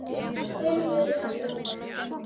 Þeim líður vel.